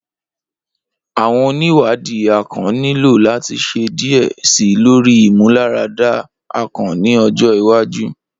Awọn oniwadi akàn nilo lati ṣe diẹ sii lori imularada akàn ni ọjọ iwaju.